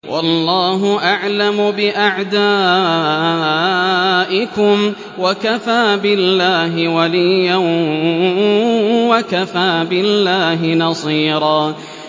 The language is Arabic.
وَاللَّهُ أَعْلَمُ بِأَعْدَائِكُمْ ۚ وَكَفَىٰ بِاللَّهِ وَلِيًّا وَكَفَىٰ بِاللَّهِ نَصِيرًا